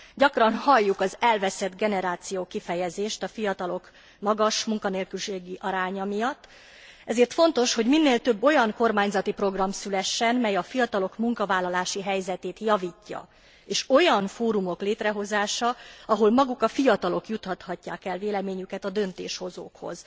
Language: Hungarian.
Gyakran halljuk az elveszett generáció kifejezést a fiatalok magas munkanélküliségi aránya miatt, ezért fontos, hogy minél több olyan kormányzati program szülessen, mely a fiatalok munkavállalási helyzetét javítja, és olyan fórumok létrehozása, ahol maguk a fiatalok juttathatják el véleményüket a döntéshozókhoz.